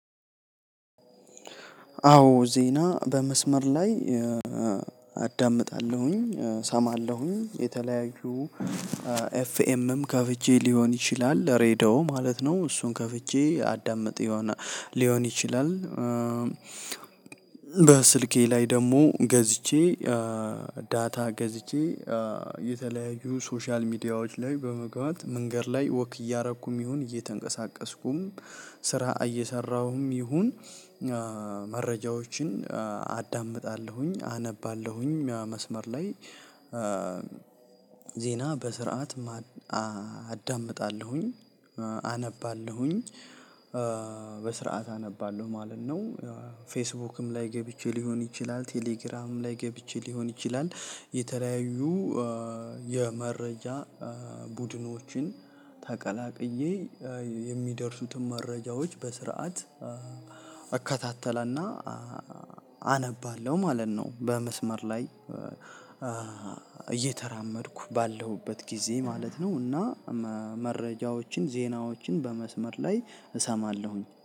አዎ ዜና በመስመር ላይ አዳምጣለሁኝ እሰማለሁኝ የተለያዩ ኤፍኤምም ከፍቼ ሊሆን ይችላል ሬዲዮ ማለት ነው እሱን ከፍቼ አዳምጥ ሊሆን ይችላል። በስልኬ ላይ ደግሞ ገዝቼ ዳታ ገዝቼ የተለያዩ ሶሻል ሚዲያዎች ላይ በመግባት መንገድ ላይ ወክ እያደረኩም ይሁን እየተንቀሳቀስኩም ስራ እየሰራሁም ይሁን መረጃዎችን አዳምጣለሁኝ አነባለሁኝ መስመር ላይ ዜና በስርዓት አዳምጣለሁኝ አነባለሁኝ በስርዓት አነባለሁ ማለት ነው። ፌስቡክም ላይ ገብቼ ሊሆን ይችላል ቴሌግራም ላይ ገብቼ ሊሆን ይችላል የተለያዩ የመረጃ ቡድኖችን ተቀላቅዬ የሚደርሱትን መረጃዎች በስርዓት እከታተልና አነባለሁ ማለት ነው። በመስመር ላይ እየተራመድኩ ባለሁበት ጊዜ ማለት ነው እና መረጃዎችን ዜናዎችን በመስመር ላይ እሰማለሁኝ